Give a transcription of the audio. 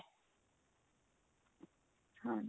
ਹਾਂ